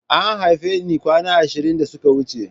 An haife ni kwana ashirin da suka wuce.